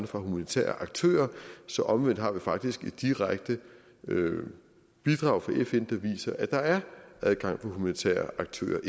for humanitære aktører så omvendt har vi faktisk et direkte bidrag fra fn der viser at der er adgang for humanitære aktører